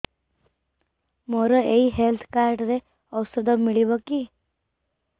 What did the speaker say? ମୋର ଏଇ health card ରେ ଔଷଧ ମିଳିବ କି